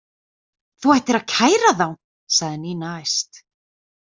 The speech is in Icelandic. Þú ættir að kæra þá sagði Nína æst.